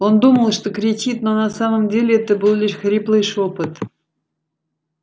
он думал что кричит но на самом деле это был лишь хриплый шёпот